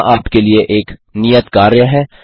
यहाँ आपके लिए एक नियत कार्य है